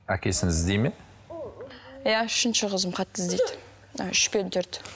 әкесін іздейді ме иә үшінші қызым қатты іздейді мына үш пен төрт